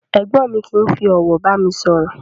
Ègbón mi kìí fi òwò bàmi sòrò